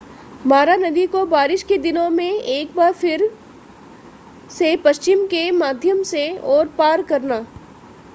मारा नदी को बारिश के दिनों में एक फिर से पश्चिम के माध्यम से और पार करना